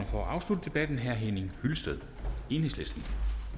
for at afslutte debatten herre henning hyllested enhedslisten